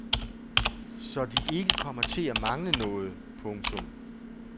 Så de ikke kommer til at mangle noget. punktum